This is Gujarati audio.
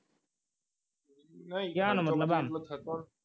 કયા નંબરનો